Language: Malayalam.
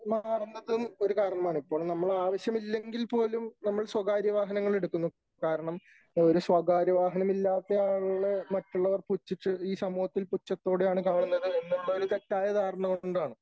മാറുന്നതും ഒരു കാരണമാണ് . ഇപ്പോൾ നമ്മൾ ആവശ്യമില്ലെങ്കിൽ പോലും നമ്മൾ സ്വകാര്യ വാഹനങ്ങൾ എടുക്കുന്നു . കാരണം ഒരു സ്വകാര്യ വാഹനം ഇല്ലാത്ത ആളെ മറ്റുള്ളവര് പുച്ഛിച്ച് ഈ സമൂഹത്തിൽ പുച്ഛത്തോടെയാണ് കാണുന്നത് എന്നുള്ള ഒരു തെറ്റായ ധാരണ കൊണ്ടാണ് .